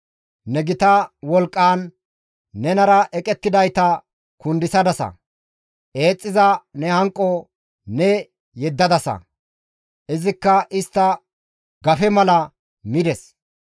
Ne gita wolqqaan nenara eqettidayta kundisadasa. Eexxiza ne hanqo ne yeddadasa, izikka istta gafe mala mides.